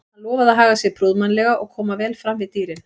Hann lofaði að haga sér prúðmannlega og koma vel fram við dýrin.